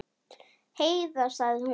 Heiða, sagði hún.